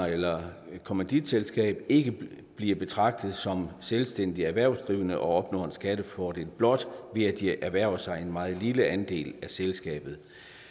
eller et kommanditselskab ikke bliver betragtet som selvstændigt erhvervsdrivende og opnår en skattefordel blot ved at de har erhvervet sig en meget lille andel af selskabet